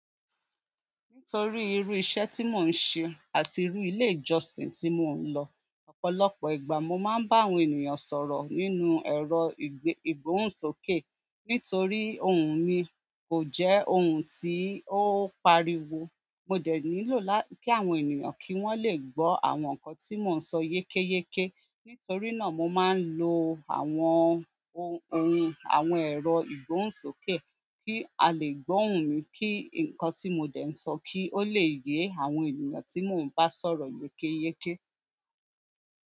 Nítorí irú iṣẹ́ tí mò ń ṣe àti irú ilé ìjọsìn tí mò ń lọ, ọ̀pọ̀lọpọ̀ ìgbà mo máa ń bá àwọn ènìyàn sọ̀rọ̀ nínú ẹ̀rọ ìgbóhùnsókè. Nítorí ohùn mi kò jẹ́ ohùn tí ó ń pariwo, mo dẹ̀ nílò kí àwọn ènìyàn kí wọ́n lè gbọ́ àwọn nǹkan tí mò ń sọ yékéyéké. Nítorí náà mo máa ń lo àwọn ohun àwọn ẹ̀rọ ìgbóhùnsókè kí a lè gbóhun mi kí nǹkan tí mo dẹ̀ ń sọ kí ó lè yé àwọn ènìyàn tí mò ń bá sọ̀rọ̀ yékéyéké.